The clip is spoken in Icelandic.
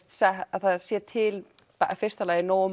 að það sé til í fyrsta lagi nógu